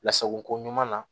Lasako ɲuman na